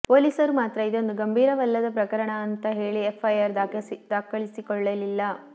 ಪೊಲೀಸರು ಮಾತ್ರ ಇದೊಂದು ಗಂಭೀರವಲ್ಲದ ಪ್ರಕರಣ ಅಂತಾ ಹೇಳಿ ಎಫ್ಐಆರ್ ದಾಖಲಿಸಿಕೊಳ್ಳಲಿಲ್ಲ